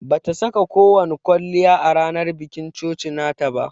Bata saka ko wani kwalliya a ranan bikin coci nata ba.